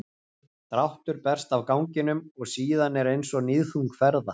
dráttur berst af ganginum og síðan er eins og níðþung ferða